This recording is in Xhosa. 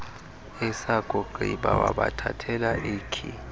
esakugqiba wabathathela ikhi